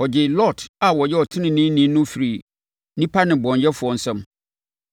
Ɔgyee Lot a ɔyɛ ɔteneneeni no firii nnipa nnebɔneyɛfoɔ nsam.